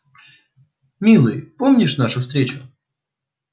милый помнишь нашу встречу